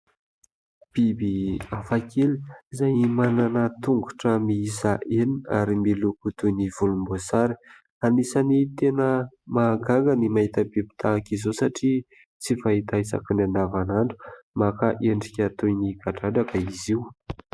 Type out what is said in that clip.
Biby hafa kely izay manana tongotra miisa enina ary miloko toy ny volombosary ; anisany tena mahagaga ny mahita biby tahaka izao satria tsy fahita isaky ny andavanandro maka endrika toy ny kadradraka izy io.